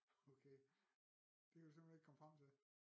Okay det kan du simpelthen ikke komme frem til